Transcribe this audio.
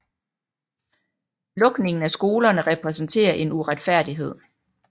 Lukningen af skolerne repræsenterer en uretfærdighed